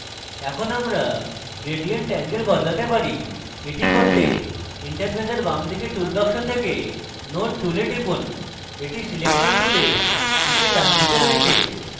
এখন আমরা gradient angle বদলাতে পারি এটি করতে interface বামদিকে tool box থেকে node tool টিপুন এটি selector টুলের নীচে ডানদিকে রয়েছে